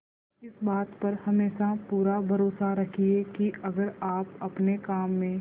इस बात पर हमेशा पूरा भरोसा रखिये की अगर आप अपने काम में